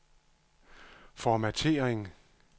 formattering